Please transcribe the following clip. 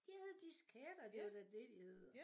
De hed disketter det var da det de hed